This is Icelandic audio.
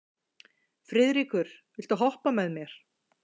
Friðríkur, viltu hoppa með mér?